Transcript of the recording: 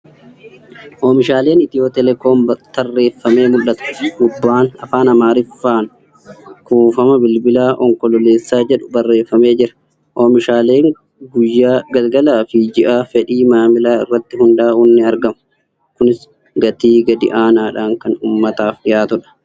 Oonishaaleen Itiyoo teeleekoom tarreeffamee mul'ata. Gubbaan Afaan Amaariffaan ' kuufama bilbilaa Onkololeessaa jedhu barreeffamee jira. Oomishaaleen guyyaa, galgalaa fi ji'aa fedhi maamilaa irratti hundaa'uun ni aragamu. Kunis gatii gadi aanaadhaan kan uummataaf dhiyaatuudha.